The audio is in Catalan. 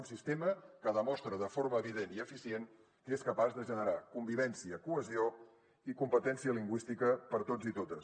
un sistema que demostra de forma evident i eficient que és capaç de generar convivència cohesió i competència lingüística per a tots i totes